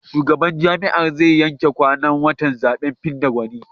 Shugaban jam'iyyar zai yanke kwanan watan zaɓen fidda gwani.